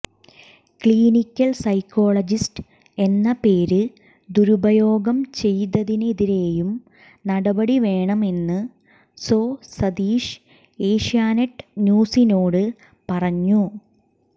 clinical psychologist എന്ന പേര് ദുരുപയോഗം ചെയ്തതിനെതിരെയും നടപടി വേണമെന്ന് സോ സതീഷ് ഏഷ്യാനെറ്റ് ന്യൂസിനോട് പറഞ്ഞു